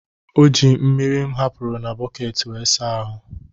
O ji mmiri m hapụrụ na bọket wee saa ahụ́.